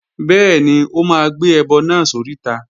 Bẹ́ẹ̀ni, ó máa gbé ẹbọ náà sóríta